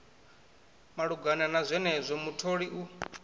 malugana na zwenezwo mutholi u